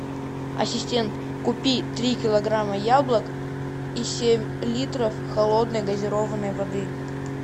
ассистент купи три килограмма яблок и семь литров холодной газированной воды